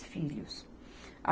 filhos.